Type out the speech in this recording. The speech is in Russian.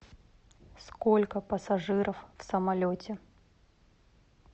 сколько пассажиров в самолете